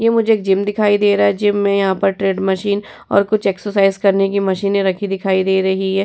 ये मुझे एक जिम दिखाई दे रहा है। जिम में यहां पर ट्रेड मशीन और कुछ एक्सरसाइज करने की मशीने रखी दिखाई दे रही है।